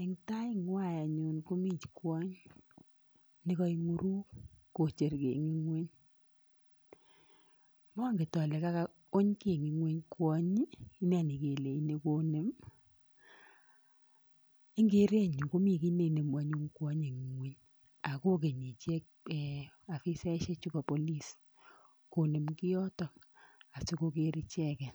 eng' tait ng'wai anyun komi kwony nekaing'uruk kocher ki ing' ng'wuny . Manget ale kakauny ki ing'ng'wuny kwonyi ine nekelechini konem. ing' kereetnyu komi ki neinemu anyun kwonyi ing' ng'wuny akokenyi ichek afisaekchu pa police konem kiotok asikogeer icheget